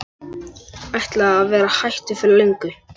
Ætlaði að vera hættur fyrir löngu.